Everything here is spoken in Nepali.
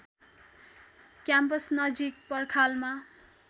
क्याम्पस नजिक पर्खालमा